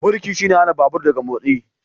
Birki shine hana babur daga motsi.